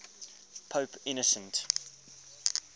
pope innocent